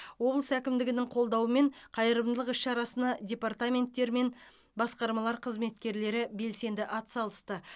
облыс әкімдігінің қолдауымен қайырымдылық іс шарасына департаменттер мен басқармалар қызметкерлері белсенді атсалысты